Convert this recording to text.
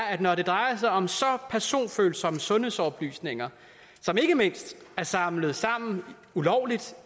at når det drejer sig om så personfølsomme sundhedsoplysninger som ikke mindst er samlet sammen ulovligt